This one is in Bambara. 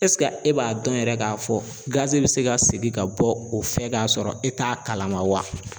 e b'a dɔn yɛrɛ k'a fɔ gazi bɛ se ka segin ka bɔ o fɛ k'a sɔrɔ e t'a kalama wa?